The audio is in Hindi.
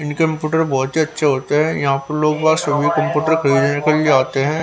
इन कंप्यूटर बहोत ही अच्छे होते हैं यहां पर लोगो सभी कंप्यूटर खरीदने निकल जाते हैं।